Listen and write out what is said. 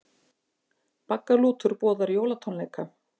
Baggalútur boðar jólatónleika